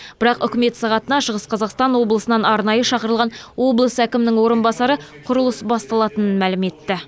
бірақ үкімет сағатына шығыс қазақстан облысынан арнайы шақырылған облыс әкімінің орынбасары құрылыс басталатынын мәлім етті